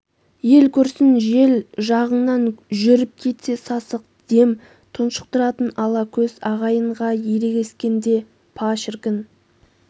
ел көрсін жел жағыңнан жүріп кетсе сасық дем тұншықтыратын ала көз ағайынға ерегескенде па шіркін